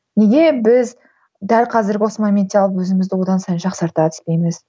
неге біз дәл қазіргі осы моментте алып өзімізді одан сайын жақсарта түспейміз